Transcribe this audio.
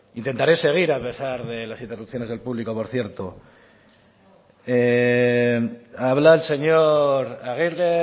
intentaré seguir a pesar de las interrupciones del público por cierto habla el señor aguirre